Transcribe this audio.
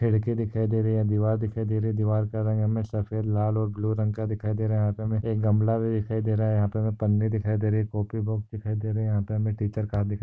खिड़की दिखाई दे रही है दीवार दिखाई दे रही दीवार का रंग हमे सफ़ेद लाल और ब्लू रंग का दिखाई दे रहा यहा पे हमे एक गमला भी दिखाई दे रहा है यहा पे हमे पन्ने दिखाई दे रही कॉफी बॉक दिखाई दे रहे यहा पे हमे टीचर का हात दिखाई --